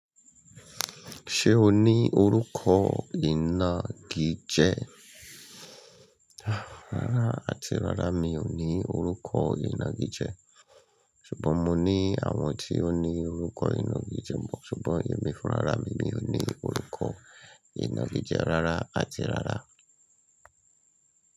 Ṣé o ní orúkọ ìnagijẹ? Rárá àti rárá mí ó ní orúkọ inagije. Ṣùgbọ́n mo ní àwọn tí ó ní orúkọ ìnagijẹ. Ṣùgbọ́n èmi fún ra mí mi ò ní orúkọ ìnagije rárá àti rárá.